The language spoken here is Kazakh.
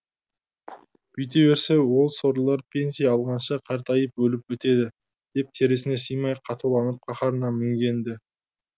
бүйте берсе ол сорлылар пенсия алғанша қартайып өліп бітеді деп терісіне сыймай қатуланып қаһарына мінген ді